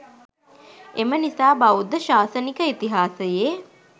එම නිසා බෞද්ධ ශාසනික ඉතිහාසයේ